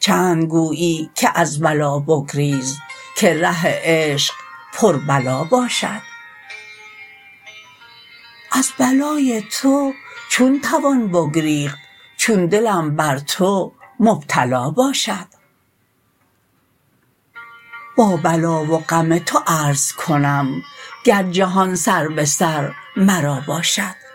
چند گویی که از بلا بگریز که ره عشق پر بلا باشد از بلای تو چون توان بگریخت چون دلم بر تو مبتلا باشد با بلا و غم تو عرض کنم گر جهان سر به سر مرا باشد